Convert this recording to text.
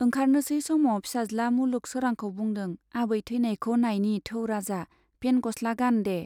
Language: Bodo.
ओंखारनोसै समाव फिसाज्ला मुलुग सोरांखौ बुंदों, आबै ठैनायखौ नायनि थौ राजा, पेन्ट गस्ला गान दे।